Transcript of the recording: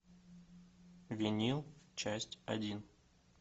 винил часть один